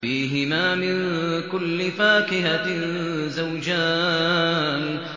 فِيهِمَا مِن كُلِّ فَاكِهَةٍ زَوْجَانِ